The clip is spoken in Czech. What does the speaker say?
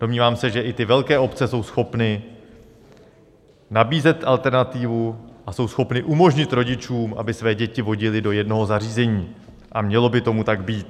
Domnívám se, že i ty velké obce jsou schopny nabízet alternativu a jsou schopny umožnit rodičům, aby své děti vodili do jednoho zařízení, a mělo by tomu tak být.